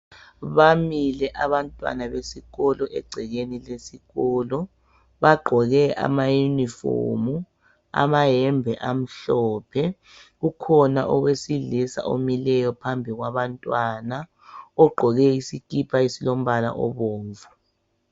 Bamile abantwana besikolo egcekeni lesikolo bagqoke amauniform amayembe amhlophe .Ukhona owesilisa omileyo phambi kwabantwana ogqoke isikipa esilombala obomvu